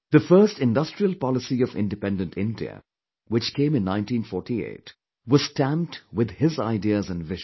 The first industrial policy of Independent India, which came in 1948, was stamped with his ideas and vision